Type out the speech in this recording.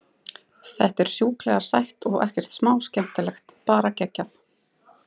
Þetta er sjúklega sætt og ekkert smá skemmtilegt, bara geggjað.